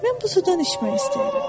Mən bu sudan içmək istəyirəm.